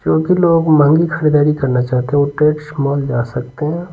जो भी लोग महंगी खरीदारी करना चाहते हैं वो ट्रेड्स मॉल जा सकते हैं।